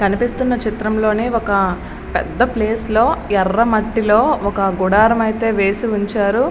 కనిపిస్తున్న చిత్రంలోని ఒక పెద్ద ప్లేస్ లో ఎర్రమట్టిలో ఒక గుడారం అయితే వేసి ఉంచారు.